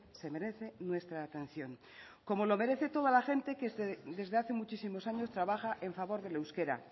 se merece nuestra atención como lo merece toda la gente que es desde hace muchísimos años trabaja en favor del euskera